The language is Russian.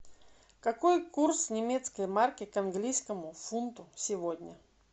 какой курс немецкой марки к английскому фунту сегодня